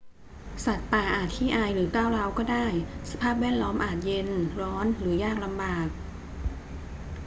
สัตว์ป่าอาจขี้อายหรือก้าวร้าวก็ได้ สภาพแวดล้อมอาจเย็น ร้อน หรือยากลำบาก